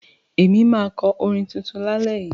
Ẹ máa kọ́ orin tuntun lálẹ́ yìí.